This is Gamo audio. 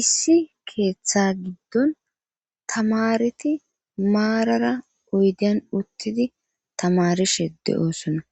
Issi keeththa giddon tamareti maarara oyden uttidi tamarishe de7oosona